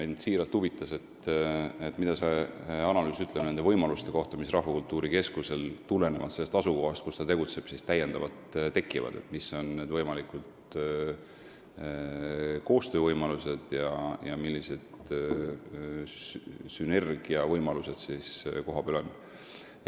Mind siiralt huvitas, mida ütleb see analüüs nende võimaluste kohta, mis Rahvakultuuri Keskusel tekivad tulenevalt sellest asukohast, kus ta tegutseb, millised on need koostöö ja sünergia võimalused kohapeal.